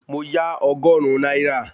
Mo yá ọgọ́rùn-ún náírà